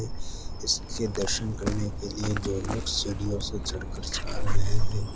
इसके दर्शन करने के लिए दो लोग सीढ़ियों से चढ़कर जा रहे हैं।